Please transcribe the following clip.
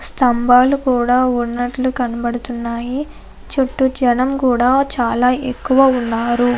స్తంభాలు కూడా ఉన్నట్లు కనబడుతున్నాయి చుట్టూ జనం కూడా చాలా ఎక్కువ ఉన్నారు.